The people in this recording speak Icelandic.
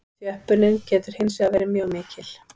Þjöppunin getur hins vegar verið mjög mikil.